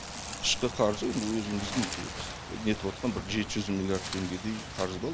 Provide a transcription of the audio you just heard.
ішкі қарызы өзіміздің нетіп отырған жеті жүз миллиард теңгедей қарыз бар